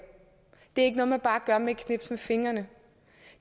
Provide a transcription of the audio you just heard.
det er ikke noget man bare gør med et knips med fingrene